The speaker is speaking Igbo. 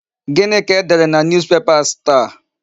Gịnị ka e dere na Newspapers taa?